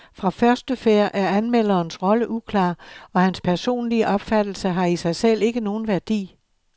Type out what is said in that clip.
Fra første færd er anmelderens rolle uklar, og hans personlige opfattelse har i sig selv ikke nogen værdi.